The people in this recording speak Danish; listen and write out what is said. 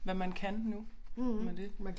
Hvad man kan nu med det